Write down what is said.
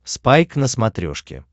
спайк на смотрешке